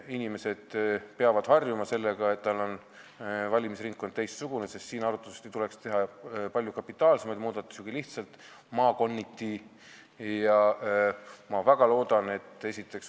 Inimene peab harjuma sellega, et tal on teine valimisringkond, sest siin tuleks arvatavasti teha palju kapitaalsemaid muudatusi kui muudatused lihtsalt maakonniti.